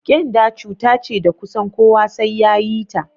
Ƙenda cuta ce da kusan kowa sai yayi ta